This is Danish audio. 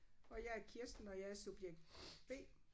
Og jeg er Kirsten og jeg er subjekt B